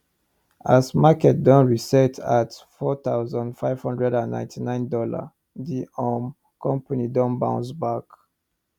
as market don reset at four thousand five hundred and ninety nine dolla d um company don bounce back